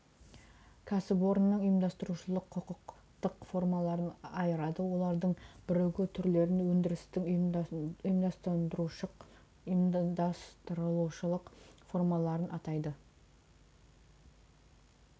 кәсіпорынның ұйымдастырушылық құқықтық формаларын айырады олардың бірігу түрлерін өндірістің ұйымдастырушылық формаларын атайды